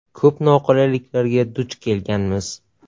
Ko‘p noqulayliklarga duch kelganmiz.